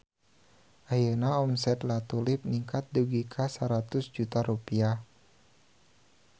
Ayeuna omset La Tulip ningkat dugi ka 100 juta rupiah